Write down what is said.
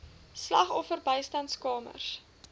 slagoffer bystandskamers